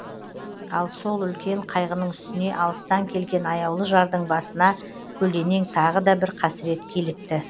ал сол үлкен қайғының үстіне алыстан келген аяулы жардың басына көлденең тағы да бір қасірет килікті